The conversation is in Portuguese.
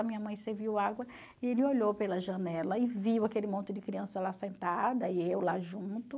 A minha mãe serviu água e ele olhou pela janela e viu aquele monte de criança lá sentada e eu lá junto.